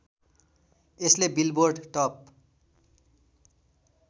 यसले billboard top